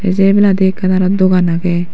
se ebayladi ekan aro dogan agey.